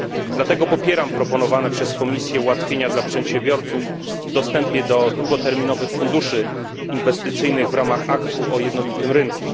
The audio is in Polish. Dlatego popieram proponowane przez Komisję ułatwienia dla przedsiębiorców w dostępie do długoterminowych funduszy inwestycyjnych w ramach Aktu o jednolitym rynku.